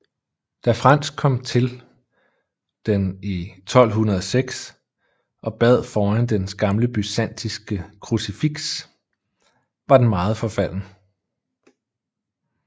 Da Frans kom til den i 1206 og bad foran dens gamle byzantinske krucifiks var den meget forfalden